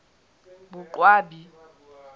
boqwabi